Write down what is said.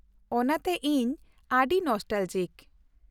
ᱚᱱᱟᱛᱮ ᱤᱧ ᱟᱹᱰᱤ ᱱᱚᱥᱴᱟᱞᱚᱡᱤᱠ ᱾